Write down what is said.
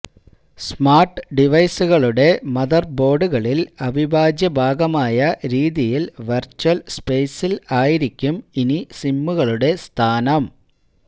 smart ഡിവൈസുകളുടെ Mother ബോര്ഡുകളില് അഭിവാജ്യഭാഗമായ രീതിയില് virtual സ്പേസില് ആയിരിക്കും ഇനി സിമ്മുകളുടെ സ്ഥാനം